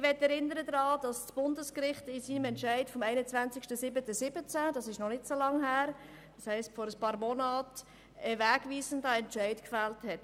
Ich erinnere daran, dass das Bundesgericht am 21. 07. 2017, also vor einigen Monaten, einen wegweisenden Entscheid gefällt hat.